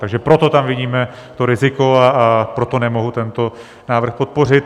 Takže proto tam vidíme to riziko a proto nemohu tento návrh podpořit.